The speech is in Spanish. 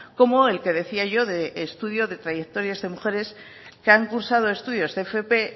como el que decía yo de estudio de trayectorias de mujeres que han cursado estudios de fp